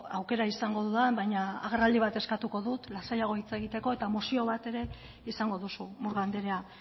aukera izango dudan baina agerraldi bat eskatuko dut lasaiago hitz egiteko eta mozio bat ere izango duzu murga andrea